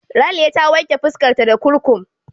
Ralya ta wanke fuskar ta da kurkum.